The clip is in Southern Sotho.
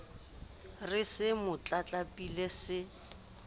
re se mo tlatlapile se